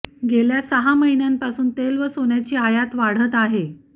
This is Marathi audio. गेल्या सहा महिन्यांपासून तेल व सोन्याची आयात वाढत आहे